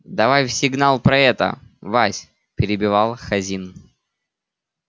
давай в сигнал про это вась перебивал хазин